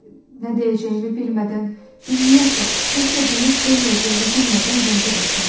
Nə deyəcəyimi bilmədən, ümumiyyətlə, nə isə deyib deməyəcəyimi bilmədən zəngə basmışdım.